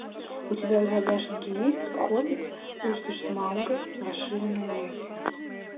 у тебя в загашнике есть хоббит пустошь смауга расширенная версия